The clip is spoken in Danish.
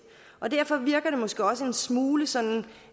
og derfor virker det måske også en smule sådan